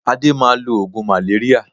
Adé máa lo oògùn maléríà